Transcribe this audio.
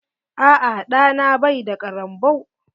Aa ɗa na bai da ƙarambau.